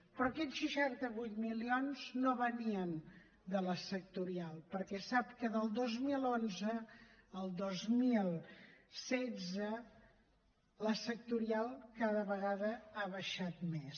però aquests seixanta vuit milions no venien de la sectorial perquè sap que del dos mil onze al dos mil setze la sectorial cada vegada ha baixat més